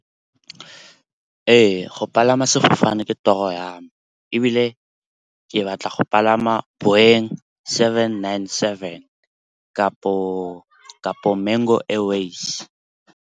Ee, go palama sefofane ke toro ya me ebile ke batla go palama Boeing seven nine seven, kapo Mango Airwaves.